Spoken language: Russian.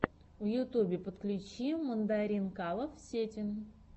в ютубе подключи мандаринкалов сетин